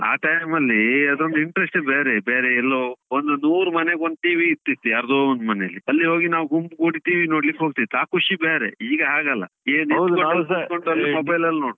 ಆ time ಅಲ್ಲೀ ಅದೊಂದು interest ಯೆ ಬೇರೆ, ಬೇರೆ ಎಲ್ಲೋ ಒಂದು ನೂರು ಮನೆಗೆ ಒಂದು TV ಇರ್ತಿತ್ತು, ಯಾರ್ದೋ ಒಂದು ಮನೇಲಿ. ಅಲ್ಲಿ ಹೋಗಿ ನಾವು ಗುಂಪುಗೂಡಿ TV ನೋಡ್ಲಿಕ್ಕೆ ಹೋಗ್ತಿದ್ವಿ, ಆ ಖುಷಿ ಬೇರೆ.ಈಗ ಹಾಗಲ್ಲ